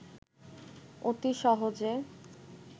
অতি সহজে